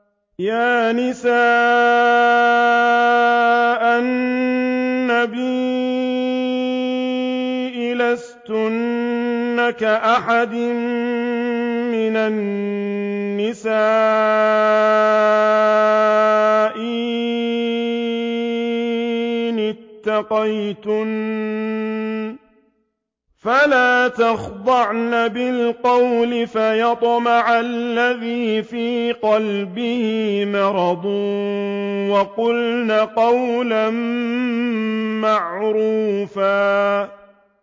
يَا نِسَاءَ النَّبِيِّ لَسْتُنَّ كَأَحَدٍ مِّنَ النِّسَاءِ ۚ إِنِ اتَّقَيْتُنَّ فَلَا تَخْضَعْنَ بِالْقَوْلِ فَيَطْمَعَ الَّذِي فِي قَلْبِهِ مَرَضٌ وَقُلْنَ قَوْلًا مَّعْرُوفًا